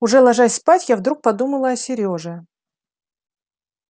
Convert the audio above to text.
уже ложась спать я вдруг подумала о серёже